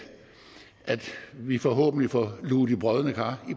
vi forhåbentlig får luget de brodne kar